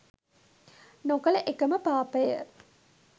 නොකළ එකම පාපය